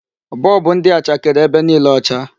Bulb ndị a chakere ebe niile ọcha.